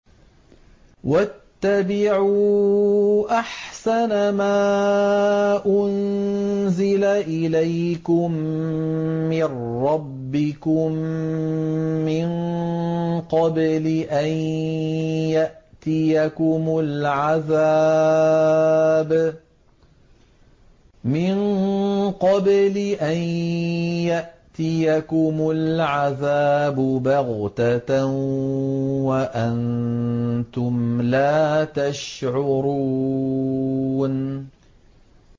وَاتَّبِعُوا أَحْسَنَ مَا أُنزِلَ إِلَيْكُم مِّن رَّبِّكُم مِّن قَبْلِ أَن يَأْتِيَكُمُ الْعَذَابُ بَغْتَةً وَأَنتُمْ لَا تَشْعُرُونَ